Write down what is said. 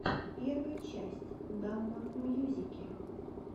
первая часть дамбо мьюзики